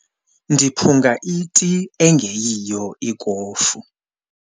Ndiphunga iti ingeyiyo ikofu.